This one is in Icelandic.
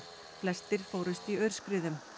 flestir fórust í aurskriðum